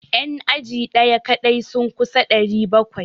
Yan aji daya kadai sun kusa 700.